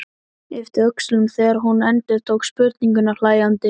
Yppti öxlum þegar hún endurtók spurninguna hlæjandi.